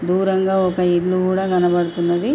దూరంగా ఒక ఇల్లు కూడా కనబడుతున్నది.